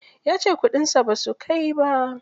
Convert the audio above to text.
Ya ce kudinsa ba su kai ba.